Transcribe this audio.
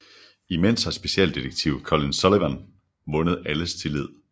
Imens har specialdetektiv Colin Sullivan vundet alles tillid